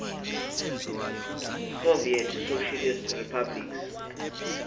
soviet socialist republics